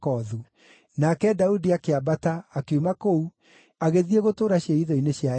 Nake Daudi akĩambata akiuma kũu agĩthiĩ gũtũũra ciĩhitho-inĩ cia Eni-Gedi.